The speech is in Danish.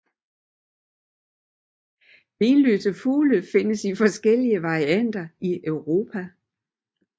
Benløse fugle findes i forskellige varianter i Europa